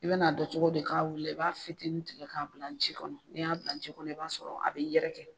I be na dɔn cogo di k'a wuli la, i b'a fitinin tigɛ k'a bila ji kɔnɔ n'i y'a bila ji kɔnɔ i b'a sɔrɔ a b'i yɛrɛkɛ.